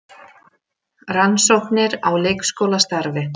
Rannsóknir á leikskólastarfi